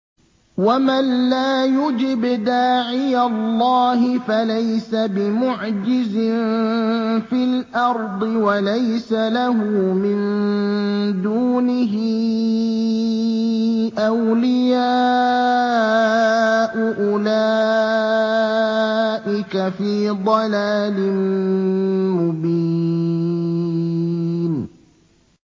وَمَن لَّا يُجِبْ دَاعِيَ اللَّهِ فَلَيْسَ بِمُعْجِزٍ فِي الْأَرْضِ وَلَيْسَ لَهُ مِن دُونِهِ أَوْلِيَاءُ ۚ أُولَٰئِكَ فِي ضَلَالٍ مُّبِينٍ